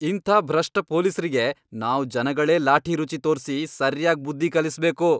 ಇಂಥ ಭ್ರಷ್ಟ ಪೊಲೀಸ್ರಿಗೆ ನಾವ್ ಜನಗಳೇ ಲಾಠಿ ರುಚಿ ತೋರ್ಸಿ ಸರ್ಯಾಗ್ ಬುದ್ಧಿ ಕಲಿಸ್ಬೇಕು.